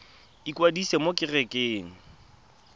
ikwadisa mo go kereite r